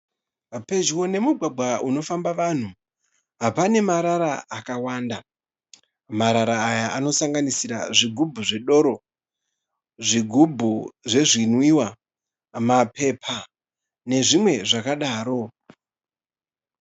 Pedyo nemugwagwa unofamba vanhu, pane marara akawanda. Marara aya anosanganisira zvigubhu zvedoro, zvigubhu zvezvinwiwa, mapepa nezvimwe zvakadaro.